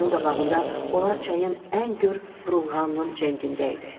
Gözümün qabağında onlar çayın ən gör vurulğanının cəngindəydi.